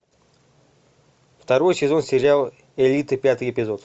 второй сезон сериал элита пятый эпизод